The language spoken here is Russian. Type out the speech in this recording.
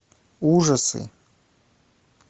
ужасы